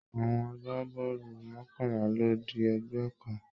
Àwọn àgbàbọọlu mọkanla ló di ẹgbẹ kàn.